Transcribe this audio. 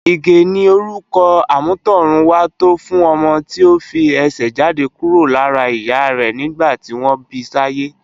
Ige ni órùkò ámùtòrùn wá tò fùn òmò ti ó fi èsè jádé kúró lárà iyà rè nigbá tiwón bisáyé